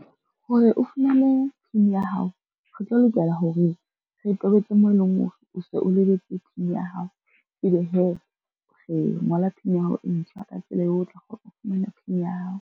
Hore o fumane PIN ya hao, re tlo lokela hore re tobetse moo e leng o se o lebetse PIN ya hao, e be hee re ngola PIN ya hao e ntjha ka tsela eo, o tla kgona ho fumana PIN ya hao.